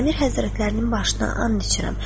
Əmir həzrətlərinin başına and içirəm.